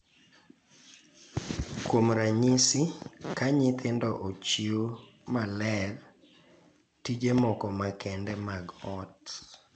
Kuom ranyisi, ka nyithindo ochiw maler tije moko makende mag ot,